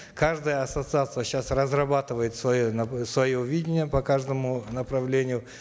каждая ассоциация сейчас разрабатывает свое свое видение по каждому направлению